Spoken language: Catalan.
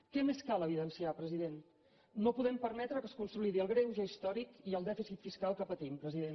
què més cal evidenciar president no podem permetre que es consolidi el greuge històric i el dèficit fiscal que patim president